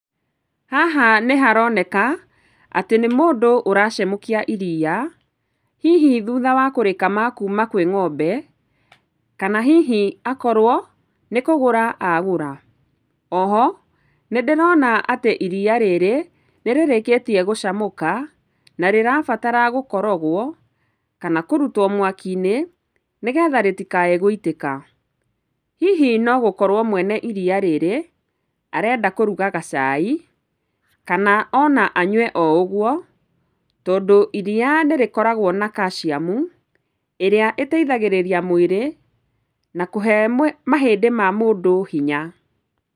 Haha nĩ haroneka atĩ nĩ mũndũ ũracemũkia iria, hihi thutha wa kũrĩkama kuuma kwĩ ng'ombe, kana hihi akorwo nĩ kũgũra agũra. Oho nĩndĩrona atĩ iria rĩrĩ nĩ rĩrikĩtie gũcamũka na rĩrabatara gũkorogwo kana kũrutwo mwaki-inĩ nĩgetha rĩtikae guitĩka. Hihi nogũkorwo mwene iria rĩrĩ arenda kũruga gacai kana ona anyue oũguo tondũ iria nĩ rĩkoragwo na calcium ĩrĩa ĩteithagĩrĩria mwĩrĩ na kũhe , mahĩndĩ hinya.